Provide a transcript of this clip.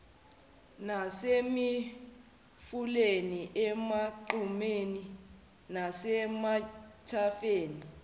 nasemifuleni emagqumeni nasemathafeni